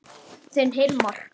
Þinn Hilmar.